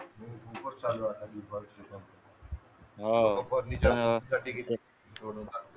हो का